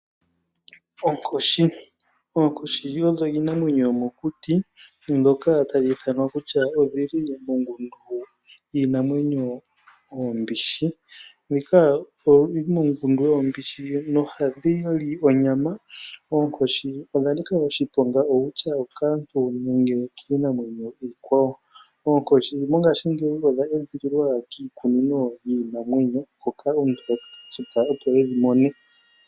Onkoshi Oonkoshi odho iinamwenyo yomokuti ndhoka tadhi ithanwa kutya odhi li mongundu yiinamwenyo oombishi. Ohadhi li onyama. Oonkoshi odha nika oshiponga ongele okaantu nenge kiinamwenyo iikwawo. Oonkoshi mongashingeyi odha edhililwa kiikunino yiinamwenyo hoka omuntu ha futu, opo e dhi mone.